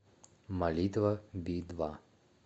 молитва би два